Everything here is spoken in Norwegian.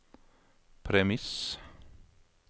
premiss